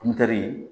Butɛri